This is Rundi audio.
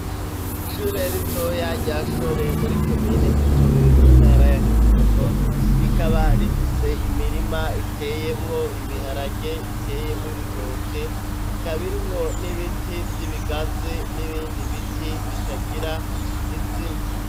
Ishure rito ya jyashore muri komine gitowe mu ntara ya kirundo rikaba rifise imirima iteyemwo ibiharage iteyemw ibitoke ikabirimwo n'ibiti by'ibigazi n'ibindi biti bitagira izina.